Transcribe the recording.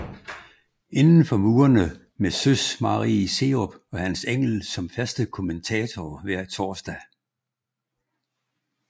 Indenfor Murene med Søs Marie Serup og Hans Engell som faste kommentatorer hver torsdag